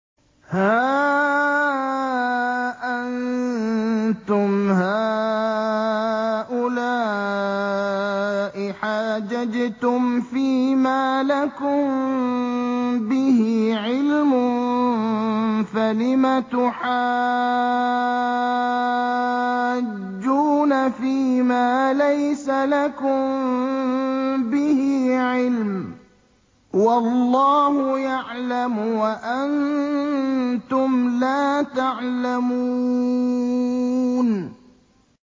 هَا أَنتُمْ هَٰؤُلَاءِ حَاجَجْتُمْ فِيمَا لَكُم بِهِ عِلْمٌ فَلِمَ تُحَاجُّونَ فِيمَا لَيْسَ لَكُم بِهِ عِلْمٌ ۚ وَاللَّهُ يَعْلَمُ وَأَنتُمْ لَا تَعْلَمُونَ